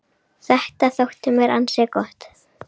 Þetta þótti mér ansi gott.